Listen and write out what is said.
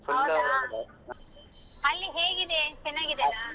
ಹೌದಾ ಅಲ್ಲಿ ಹೇಗಿದೆ ಚೆನ್ನಾಗಿದೆನಾ?